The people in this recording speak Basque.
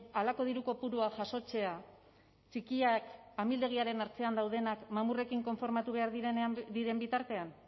halako diru kopuruak jasotzea txikiak amildegiaren ertzean daudenak mamurrekin konformatu behar diren bitartean